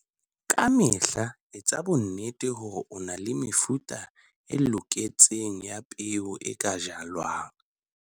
Ka mehla etsa bonnete hore o na le mefuta e loketseng ya peo e ka jalwang.